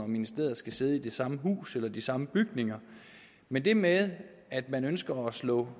ministeriet skal sidde i det samme hus eller de samme bygninger men det med at man ønsker at slå